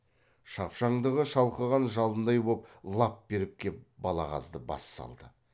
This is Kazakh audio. шапшаңдығы шалқыған жалындай боп лап беріп кеп балағазды бас салды